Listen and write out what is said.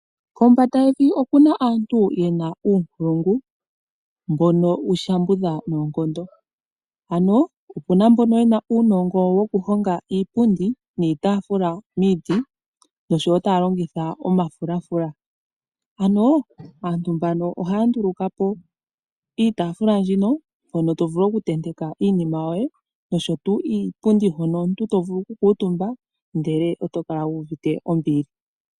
Kombanda yevi oku na aantu ye na uunkulungu mbono wu shambudha noonkondo. Ano opu na mbono ye na uunongo wokuhonga iipundi niitaafula miiti nosho wo taa longitha omafulafula. Ano aantu mbano ohaa nduluka po niitaafula mbyono hono to vulu okutenteka iinima yoye nosho tuu iipundi hono omuntu to vulu okukuutumba ndele oto kala wu uvite ombili.